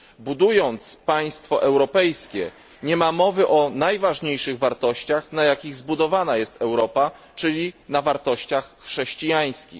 Budując państwo europejskie, nie mówi się o najważniejszych wartościach, na jakich jest zbudowana Europa, czyli na wartościach chrześcijańskich.